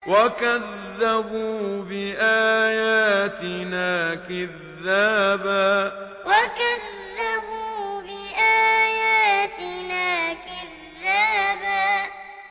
وَكَذَّبُوا بِآيَاتِنَا كِذَّابًا وَكَذَّبُوا بِآيَاتِنَا كِذَّابًا